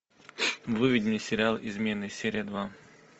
выведи мне сериал измены серия два